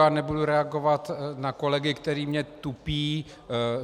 Já nebudu reagovat na kolegy, kteří mě tupí.